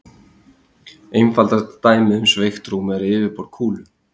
Einfaldasta dæmið um sveigt rúm er yfirborð kúlu.